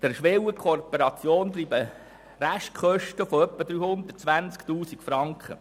Der Schwellenkooperation verbleiben Restkosten von circa 320 000 Franken.